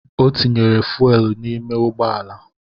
Ọ tinyere fuuel n’ime ụgbọala